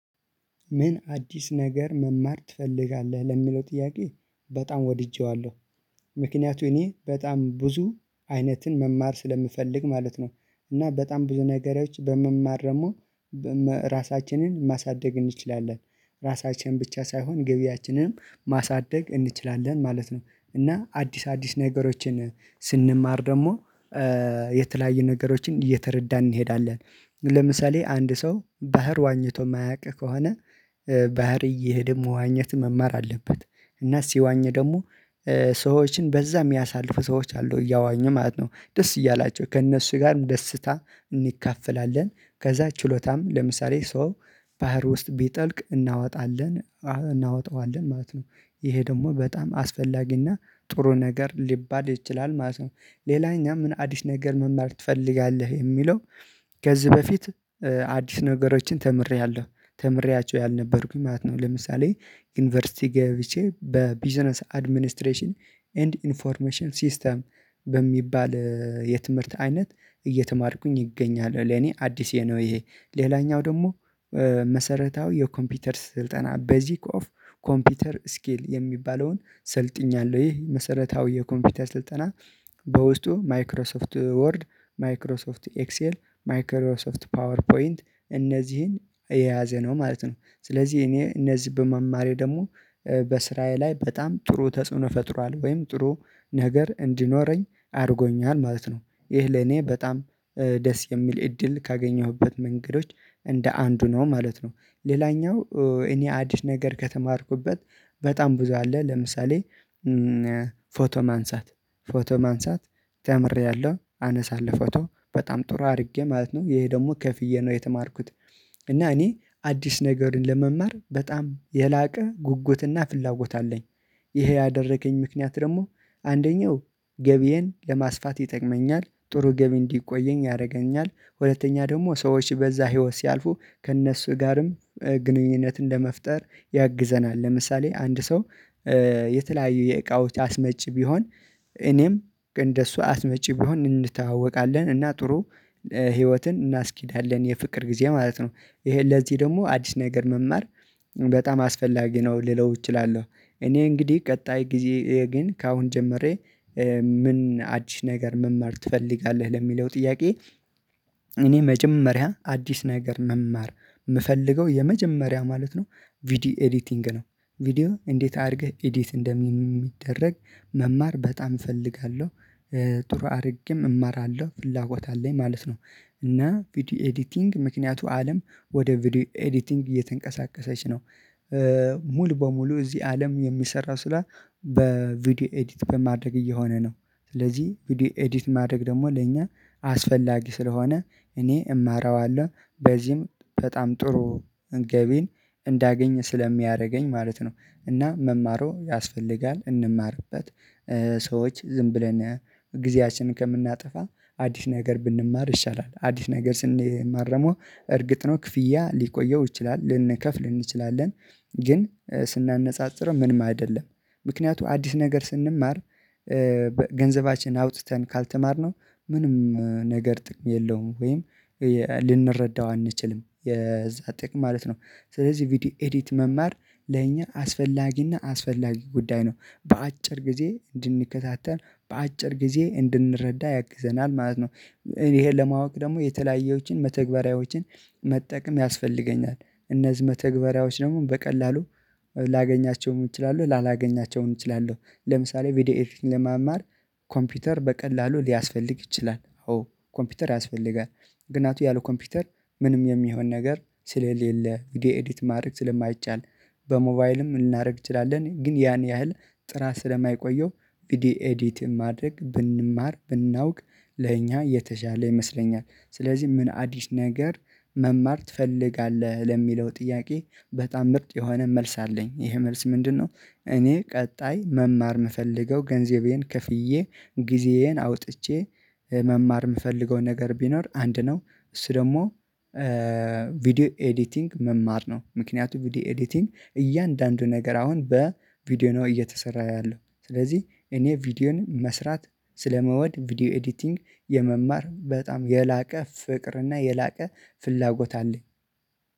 ምን አዲስ ነገር መማር ትፈልጋለህ? ለሚለው ጥያቄ በጣም ወድጄዋለሁ። ምክንያቱ እኔ በጣም ብዙ አይነትን መማር ስለምፈልግ ማለት ነው። እና በጣም ብዙ ነገሮች በመማር ደግሞ ራሳችንን ማሳደግ እንችላለን፣ ራሳችን ብቻ ሳይሆን ገቢያችንንም ማሳደግ እንችላለን ማለት ነው። እና አዲስ አዲስ ነገሮችን ስንማር ደግሞ የተለያዩ ነገሮችን እየተረዳን እንሄዳለን። ለምሳሌ አንድ ሰው ባህር ዋኝቶ የማያውቅ ከሆነ ባህር እየሄደ መዋኘት መማር አለበት። እና ሲዋኘ ደግሞ ሰዎችን በዛ የሚያሳልፉ ሰዎች አሉ እያዋኙ ማለት ነው ደስ እያላቸው ከእነሱ ጋር ደስታ እንካፈላለን። ከዛ ችሎታም ለምሳሌ ሰው ባህር ውስጥ ቢጠልቅ እናወጣለን እናወጣዋለን ማለት ነው። ይሄ ደግሞ በጣም አስፈላጊና ጥሩ ነገር ሊባል ይችላል ማለት ነው። ሌላ እኛ ምን አዲስ ነገር መማር ትፈልጋለህ የሚለው? ገዝ በፊት አዲስ ነገሮችን ተምሬያለሁ ተምሬያቸው ያልነበርኩኝ ማለት ነው። ለምሳሌ ዩኒቨርሲቲ ገብቼ በቢዝነስ አድሚኒስትሬሽን ኤንድ ኢንፎርሜሽን ሲስተም በሚባል የትምህርት አይነት እየተማርኩኝ እገኛለሁ። ለኔ አዲስ የነው ይሄ ሌላኛው ደግሞ መሰረታዊ የኮምፒውተር ስልጠና ቤዚክ ኦፍ ኮምፒውተር ስኪል የሚባለውን ሰልጥኛለሁ፤ ይህ መሰረታዊ የኮምፒውተር ስልጠና በውስጡ ማይክሮሶፍት ወርድ፣ ማይክሮሶፍት ኤክሴል፣ ማይክሮሶፍት ፓወር ፖይንት እነዚህን የያዘ ነው ማለት ነው። ስለዚህ እኔ እነዚህን በመማሬ ደግሞ በስራዬ ላይ በጣም ጥሩ ተጽዕኖ ፈጥሯል ወይም ጥሩ ነገር እንዲኖረኝ አድርጎኛል ማለት ነው። ይህ ለኔ በጣም ደስ የሚል እድል ካገኘሁበት መንገዶች እንደ አንዱ ነው ማለት ነው። ሌላኛው እኔ አዲስ ነገር ከተማርኩበት በጣም ብዙ አለ። ለምሳሌ ፎቶ ማንሳት ፎቶ ማንሳት ተምሬያለሁ አነሳለሁ ፎቶ በጣም ጥሩ አድርጌ ማለት ነው ይሄ ደግሞ ከፍዬ ነው የተማርኩት። እና እኔ አዲስ ነገርን ለመማር በጣም የላቀ ጉጉትና ፍላጎት አለኝ። ይሄ ያደረገኝ ምክንያት ደግሞ አንደኛው ገቢዬን ለማስፋት ይጠቅመኛል ጥሩ ገቢ እንዲቆየኝ ያደርገኛል። ሁለተኛ ደግሞ ሰዎች በዛ ህይወት ሲያልፉ ከእነሱ ጋርም ግንኙነት ለመፍጠር ያግዘናል። ለምሳሌ አንድ ሰው የተለያዩ የእቃዎች አስመጪ ቢሆን እኔም እንደሱ አስመጪ ቢሆን እንተዋወቃለን እና ጥሩ ህይወትን እናስኬዳለን የፍቅር ጊዜ ማለት ነው። ይሄ ለዚህ ደግሞ አዲስ ነገር መማር በጣም አስፈላጊ ነው ልለው እችላለሁ። እኔ እንግዲህ ቀጣይ ጊዜ ግን ከአሁን ጀምሬ ምን አዲስ ነገር መማር ትፈልጋለህ ለሚለው ጥያቄ? እኔ መጀመሪያ አዲስ ነገር መማር የምፈልገው የመጀመሪያ ማለት ነው። ቪዲዮ ኤዲቲንግ ነው። ቪዲዮ እንዴት አድርገህ ኤዲት እንደሚደረግ መማር በጣም እፈልጋለሁ። ጥሩ አድርጌም እማራለሁ ፍላጎት አለኝ ማለት ነው። እና ቪዲዮ ኤዲቲንግ ምክንያቱም አለም ወደ ቪዲዮ ኤዲቲንግ እየተንቀሳቀሰች ነው። ሙሉ በሙሉ እዚህ አለም የሚሰራው ስራ በቪዲዮ ኤዲት በማድረግ እየሆነ ነው። ስለዚህ ቪዲዮ ኤዲት ማድረግ ደግሞ ለእኛ አስፈላጊ ስለሆነ እኔ እማረዋለሁ። በዚህም በጣም ጥሩ እንገቢን እንዳገኝ ስለሚያደርገኝ ማለት ነው። እና መማሩ ያስፈልጋል እንማርበት ሰዎች ዝም ብለን ጊዜያችንን ከምናጠፋ አዲስ ነገር ብንማር ይሻላል አዲስ ነገር ስንማር ደግሞ እርግጥ ነው ክፍያ ሊቆየው ይችላል ልንከፍል እንችላለን። ግን ስናነጻጽር ምንም አይደለም። ምክንያቱም አዲስ ነገር ስንማር ገንዘባችንን አውጥተን ካልተማርነው ምንም ነገር ጥቅም የለውም ወይም ልንረዳው አንችልም የዛን ጥቅም ማለት ነው። ስለዚህ ቪዲዮ ኤዲት መማር ለኛ አስፈላጊና አስፈላጊ ጉዳይ ነው በአጭር ጊዜ እንድንከታተል በአጭር ጊዜ እንድንረዳ ያግዘናል ማለት ነው። ይሄን ለማወቅ ደግሞ የተለያየዎችን መተግበሪያዎችን መጠቀም ያስፈልገኛል። እነዚህ መተግበሪያዎች ደግሞ በቀላሉ ላገኛቸውም እችላለሁ ላላገኛቸውም እችላለሁ። ለምሳሌ ቪዲዮ ኤቲንግ ለማማር ኮምፒውተር በቀላሉ ሊያስፈልግ ይችላል። ኮምፒውተር ያስፈልጋል ምክንያቱም ያለ ኮምፒውተር ምንም የሚሆን ነገር ስለሌለ እንግዲህ ኤዲት ማድረግ ስለማይቻል። በሞባይልም ልናደርግ እንችላለን ግን ያን ያህል ጥራት ስለማይቆየው ቪዲዮ ኤዲት ማድረግ ብንማር ብናውቅ ለእኛ የተሻለ ይመስለኛል። ስለዚህ ምን አዲስ ነገር መማር ትፈልጋለህ ለሚለው ጥያቄ በጣም ምርጥ የሆነ መልስ አለኝ ይሄ መልስ ምንድነው? እኔ ቀጣይ መማር የምፈልገው ገንዘቤን ክፍዬ ጊዜዬን አውጥቼ መማር የምፈልገውን ነገር ቢኖር አንድ ነው እሱ ደግሞ ቪዲዮ ኤዲቲንግ መማር ነው። ምክንያቱም ቪዲዮ ኤዲቲንግ እያንዳንዱ ነገር አሁን በቪዲዮ ነው እየተሰራ ያለው ስለዚህ እኔ ቪዲዮን መስራት ስለመወድ ቪዲዮ ኤዲቲንግ የመማር በጣም የላቀ ፍቅርና የላቀ ፍላጎት አለኝ።